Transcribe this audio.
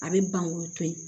A bɛ ban k'olu to ye